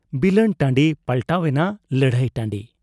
ᱵᱤᱞᱟᱹᱱ ᱴᱟᱺᱰᱤ ᱯᱟᱞᱴᱟᱣ ᱮᱱᱟ ᱞᱟᱹᱲᱦᱟᱹᱭ ᱴᱟᱺᱰᱤ ᱾